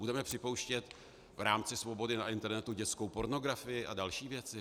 Budeme připouštět v rámci svobody na internetu dětskou pornografii a další věci?